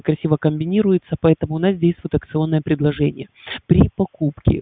спасибо комбинируется поэтому у нас действует акционное предложение при покупке